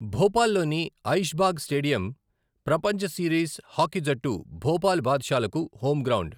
భోపాల్లోని Aishbagh stadium ప్రపంచ series hockey జట్టు భోపాల్ బాద్షాలకు హోమ్ గ్రౌండ్.